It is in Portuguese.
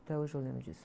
Até hoje eu lembro disso.